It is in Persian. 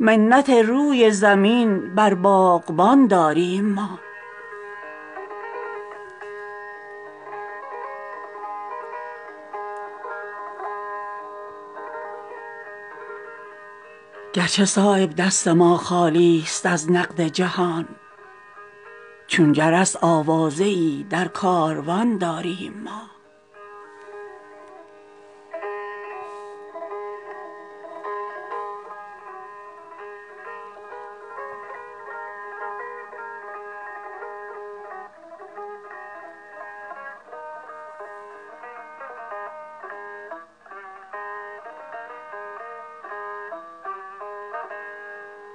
منت روی زمین بر باغبان داریم ما گرچه صایب دست ما خالی است از نقد جهان چون جرس آوازه ای در کاروان داریم ما